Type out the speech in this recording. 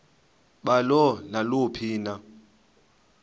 balo naluphi na